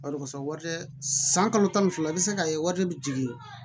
Bari kosɛbɛ san kalo tan ni fila i bɛ se k'a ye warijɛ bɛ jigin